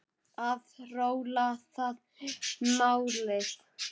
Að róla, það er málið.